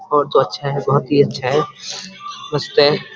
वो तो अच्छा है बहुत ही अच्छा है उसपे --